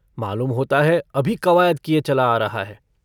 मालूम होता है अभी कवायद किए चला आ रहा है।